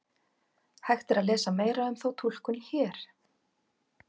Hægt er að lesa meira um þá túlkun hér.